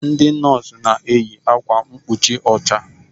Ndị nọọsụ na-eyi ákwà mkpuchi ocha.